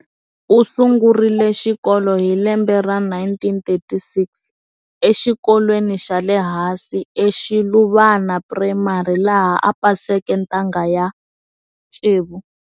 Usungurile xikolo hi lembe ra 1936 exikolweni xale hansi eShiluvana Primary, laha a paseke ntanga ya 6.